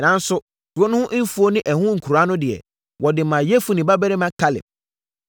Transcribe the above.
Nanso, kuro no ho mfuo ne ɛho nkuraa no deɛ, wɔde maa Yefune babarima Kaleb.